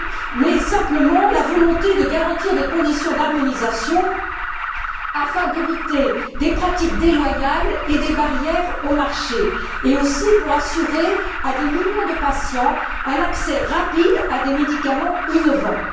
mais simplement la volonté de garantir des conditions d'harmonisation afin d'éviter des pratiques déloyales et des barrières aux marchés, et aussi d'assurer à des millions de patients un accès rapide à des médicaments innovants.